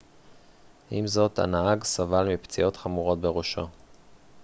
עם זאת הנהג סבל מפציעות חמורות בראשו